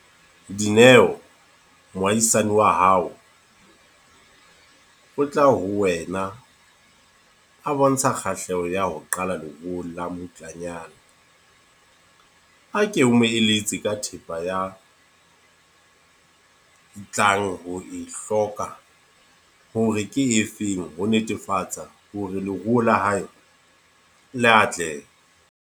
Dineo, moahisane wa hao. O tla ho wena a bontsha kgahleho ya ho qala leruo la mmutlanyana. A ke omo eletse ka thepa ya tlang ho e hloka, hore ke efeng. Ho netefatsa hore leruo la hae le atlehe.